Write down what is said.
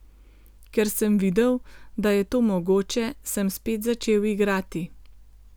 Ker sem videl, da je to mogoče, sem spet začel igrati.